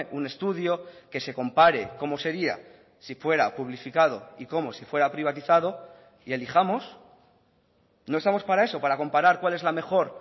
un estudio que se compare cómo sería si fuera publificado y cómo si fuera privatizado y elijamos no estamos para eso para comparar cuál es la mejor